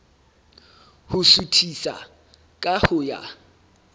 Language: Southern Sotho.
ho suthisa ka ho ya